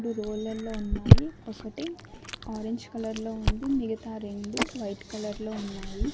ఇది రోలల్లో ఉన్నాయి ఒకటి ఆరెంజ్ కలర్లో ఉంది మిగతా రెండు వైట్ కలర్లో ఉన్నాయి.